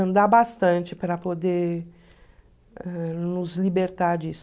andar bastante para poder ãh nos libertar disso.